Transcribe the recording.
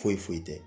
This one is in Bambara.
Foyi foyi foyi tɛ